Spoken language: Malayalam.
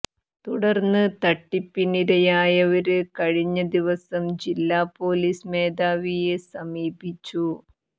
തുടര്ന്ന് തട്ടിപ്പിനിരയായവര് കഴിഞ്ഞ ദിവസം ജില്ലാ പൊലീസ് മേധാവിയെ സമീപിച്ചു